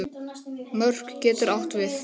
Mörk getur átt við